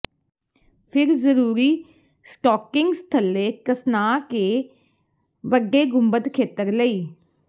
ਫਿਰ ਜ਼ਰੂਰੀ ਸਟੋਕਿੰਗਜ਼ ਥੱਲੇ ਕੱਸਣਾ ਕੇ ਵੱਡੇ ਗੁੰਬਦ ਖੇਤਰ ਲਈ